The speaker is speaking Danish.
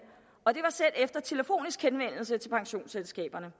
selv efter telefonisk henvendelse til pensionsselskaberne